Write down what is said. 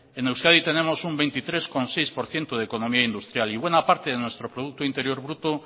en euskadi tenemos un veintitrés coma seis por ciento de economía industrial y buena parte de nuestro producto interior bruto